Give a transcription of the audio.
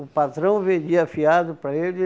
O patrão vendia fiado para ele.